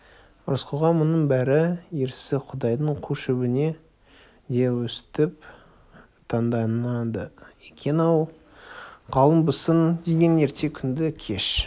рысқұлға мұның бәрі ерсі құдайдың қу шөбіне де өстіп таңданады екен-ау ғалымбысың деген ерте күнді кеш